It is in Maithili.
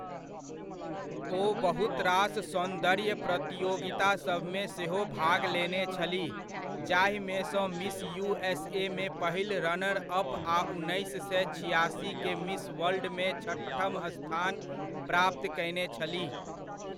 ओ बहुतरास सौन्दर्य प्रतियोगितासभमे सेहो भाग लेने छलीह जाहिमेसँ मिस युएसए मे पहिल रनर अप आ उन्नैस सए छिआसी के मिस वर्ल्डमे छठम स्थान प्राप्त कयने छलीह।